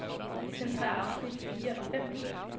Centrér afsnit fire og fem.